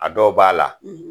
A dɔw b'a la